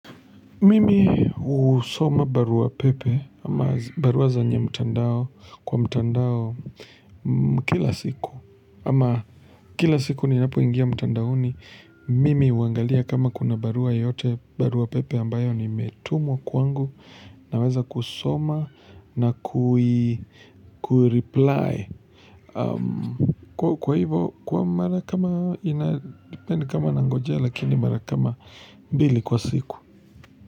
Mimi husoma barua pepe ama barua zenye mtandao kwa mtandao kila siku ama kila siku ninapoingia mtandao ni mimi huangalia kama kuna barua yoyote barua pepe ambayo imetumwa kuangu naweza kusoma na kui, ku reply kwa hivo kwa mara kama ina depend kama nangojea lakini mara kama mbili kwa siku.